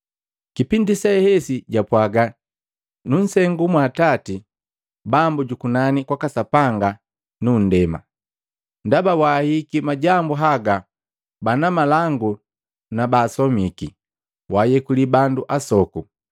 Kipindi sehesi Yesu japwaaga, “Nunsengu mwa Atati, Bambu jukunani kwaka Sapanga nu nndema, ndaba waahihiki majambu haga bana malangu na baasomiki, waayekuli bandu asoku.”